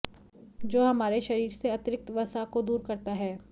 जो हमारे शरीर से अतिरिक्त वसा को दूर करता है